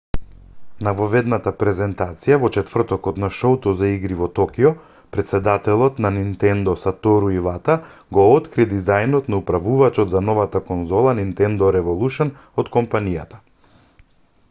на воведната презентација во четвртокот на шоуто за игри во токио претседателот на nintendo сатору ивата го откри дизајнот на управувачот за новата конзола nintendo revolution од компанијата